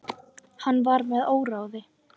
Hann var með óráði.